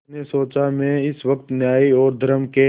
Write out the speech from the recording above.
उसने सोचा मैं इस वक्त न्याय और धर्म के